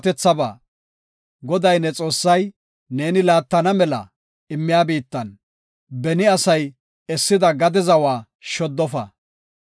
Goday ne Xoossay neeni laattana mela immiya biittan, beni asay essida gade zawa shoddofa.